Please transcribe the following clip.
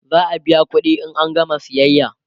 za'a biya ƙuɗi in an gama sayayya